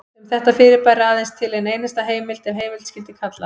Um þetta fyrirbæri er aðeins til ein einasta heimild ef heimild skyldi kalla.